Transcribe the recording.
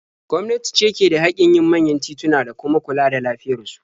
Gwamnati ce ke da haƙƙin yin manyan tituna da kuma kula da lafiyar su.